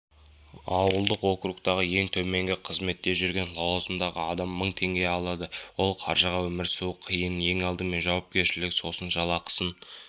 ауылдық округтардағы ең төменгі қызметте жүрген лауазымдағы адам мың теңге алады ол қаржыға өмір сүру қиын ең алдымен жауапкершілік сосын жалақысын